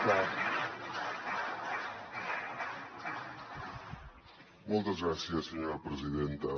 moltes gràcies senyora presidenta